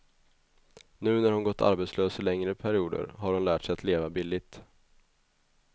Nu när hon gått arbetslös i längre perioder har hon lärt sig att leva billigt.